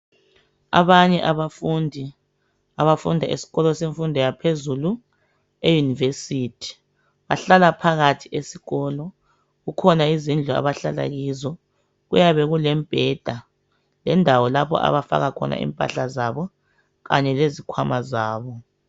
Abanye abafundi abafunda esikolo semfundo yaphezulu euniversity bahlala phakathi esikolo. Kukhona izindlu abahlala kizo. Kuyabe kulembheda lendawo lapho abafaka khona impahla zabo kanye lezikhwama zabo.